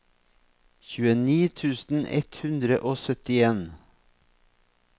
tjueni tusen ett hundre og syttien